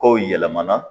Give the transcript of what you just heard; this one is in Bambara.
Kow yɛlɛmana